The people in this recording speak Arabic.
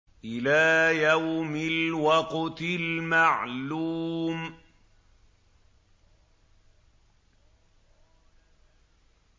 إِلَىٰ يَوْمِ الْوَقْتِ الْمَعْلُومِ